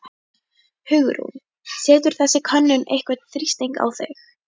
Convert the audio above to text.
Hugrún: Setur þessi könnun einhvern þrýsting á þig?